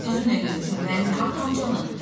Mən öz gözümlə görmüşəm müəllimə, atamcanı.